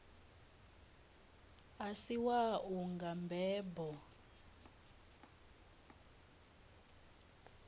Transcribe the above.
a si wau nga mbebo